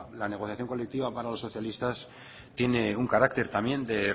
la negociación colectiva para los socialistas tiene un carácter también de